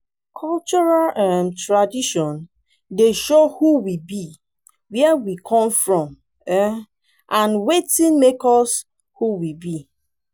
cultural um tradition dey show who we be where we come from um and wetin make us um who we be